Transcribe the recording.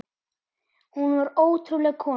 Hún var ótrúleg kona.